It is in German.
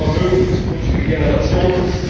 Sie schaffen Vermögen für zukünftige Generationen.